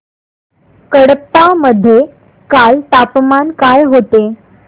कडप्पा मध्ये काल तापमान काय होते